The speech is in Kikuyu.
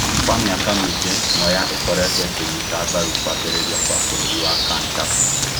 Kwa mĩaka mĩingĩ, Mwea ikũretuo ĩkĩnyita mbaru kũambirĩria kwa bũrũri wa Kantafu